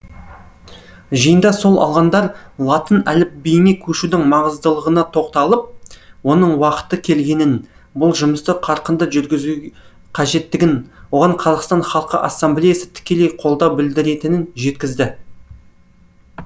жиында сөз алғандар латын әліпбиіне көшудің маңыздылығына тоқталып оның уақыты келгенін бұл жұмысты қарқынды жүргізу қажеттігін оған қазақстан халқы ассамблеясы тікелей қолдау білдіретінін жеткізді